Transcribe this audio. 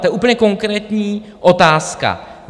To je úplně konkrétní otázka.